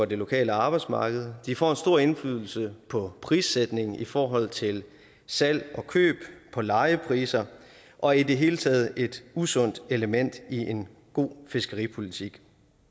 det lokale arbejdsmarked de får en stor indflydelse på prissætningen i forhold til salg og køb og på lejepriser og er i det hele taget et usundt element i en god fiskeripolitik